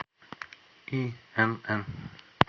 инн